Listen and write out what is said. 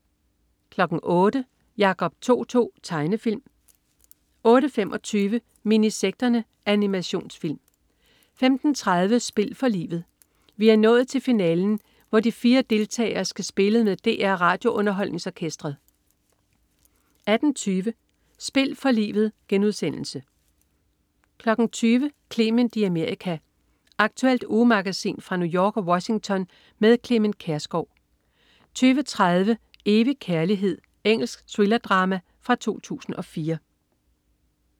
08.00 Jacob To-To. Tegnefilm 08.25 Minisekterne. Animationsfilm 15.30 Spil for livet. Vi er nået til finalen, hvor de fire deltagere skal spille med DR RadioUnderholdningsOrkestret 18.20 Spil for livet* 20.00 Clement i Amerika. Aktuelt ugemagasin fra New York og Washington med Clement Kjersgaard 20.30 Evig kærlighed. Engelsk thrillerdrama fra 2004